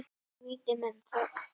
Og viti menn, þögn.